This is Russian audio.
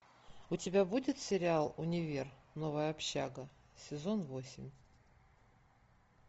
у тебя будет сериал универ новая общага сезон восемь